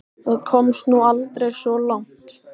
Það komst nú aldrei svo langt.